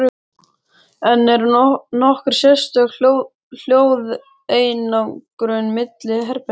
En er nokkur sérstök hljóðeinangrun milli herbergja?